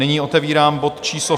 Nyní otevírám bod číslo